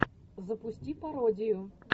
запусти пародию